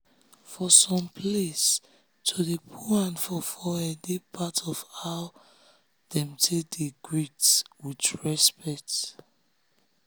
for some placeto dey put hand for forehead dey part of how dem take dey greet with respect.